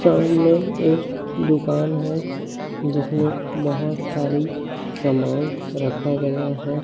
सामने एक दुकान हैं जिसमें बहुत सारी समान रखा गया है।